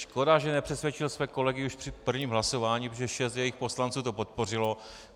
Škoda, že nepřesvědčil své kolegy už při prvním hlasování, protože šest jejich poslanců to podpořilo.